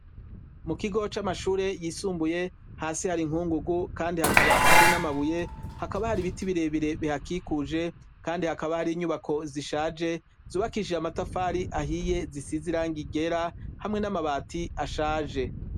Mu kigo c'amashure yisumbuye hasi hari inkungugu kandi hakaba hari n'amabuye hakaba hari ibiti birebire bihakikuje kandi hakaba hari inyubako zishaje zubakishije amatafari ahiye zisizirangigera hamwe n'amabati ashaje.